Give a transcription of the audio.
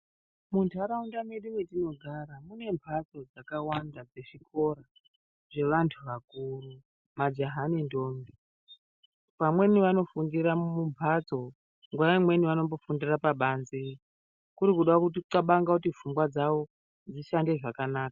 Muntaraunda mwedu mwetinogara munembatso dzakawanda dzezvikora zvevantu vakuru, majaha nentombi. Vamweni vamofundira mumbatso, nguwa imweni vanombofundira pabanze kuri kuda kuxabanga kuti pfungwa dzavo dzishande zvakanaka.